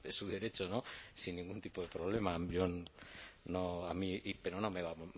es su derecho no sin ningún tipo de problema pero no me va